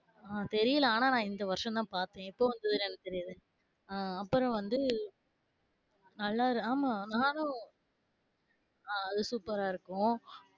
ஆஹ் தெரியல ஆனா நான் இந்த வருஷம்தான் பாத்தேன் எப்போ போனே என்னக்கு தெரியாது ஆஹ் அப்பறம் வந்து நல்லா இருந்துது ஆமா நானும் அது சூப்பரா இருக்கும்,